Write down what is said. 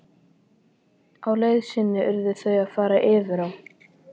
Á leið sinni urðu þau að fara yfir á.